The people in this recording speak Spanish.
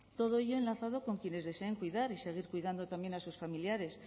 todo ello enlazado con quienes deseen cuidar y seguir cuidando también a sus familiares